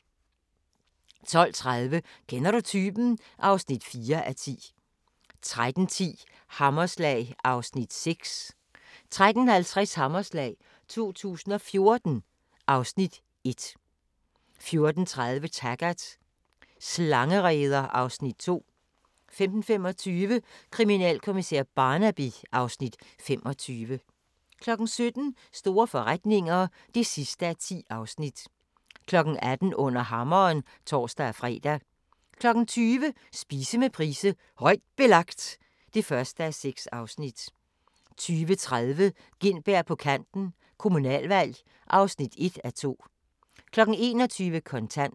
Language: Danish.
12:30: Kender du typen? (4:10) 13:10: Hammerslag (Afs. 6) 13:50: Hammerslag 2014 (Afs. 1) 14:30: Taggart: Slangereder (Afs. 2) 15:25: Kriminalkommissær Barnaby (Afs. 25) 17:00: Store forretninger (10:10) 18:00: Under Hammeren (tor-fre) 20:00: Spise med Price: "Højt Belagt" (1:6) 20:30: Gintberg på Kanten – Kommunalvalg (1:2) 21:00: Kontant